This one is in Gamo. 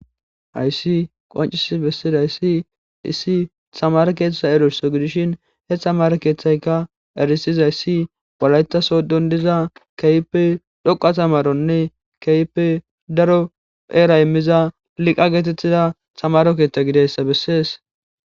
hayssi qoncis bessidayssi issi hamare keethtetha erusso gidishin heththa markeethaykka erisiza issi balaytaso dondiza keype dhoqa tamaronne keype daro eera immiza liqa geetettida samaro keeththa gideyssa bessees